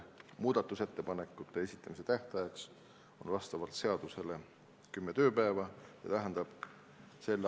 Muudatusettepanekute esitamise tähtaeg on vastavalt seadusele kümme tööpäeva, see tähendab s.